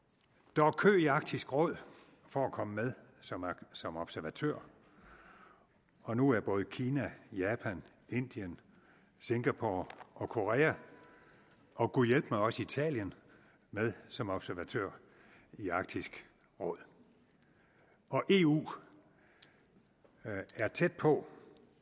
der var kø i arktisk råd for at komme med som som observatører og nu er både kina japan indien singapore korea og gud hjælpe mig også italien med som observatører i arktisk råd og eu er tæt på